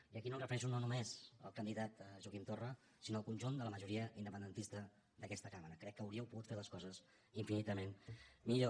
i aquí no em refereixo només al candidat joaquim torra sinó al conjunt de la majoria independentista d’aquesta cambra crec que hauríeu pogut fer les coses infinitament millor